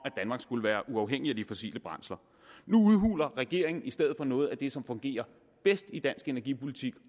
danmark skulle være uafhængig af de fossile brændsler nu udhuler regeringen i stedet for noget af det som fungerer bedst i dansk energipolitik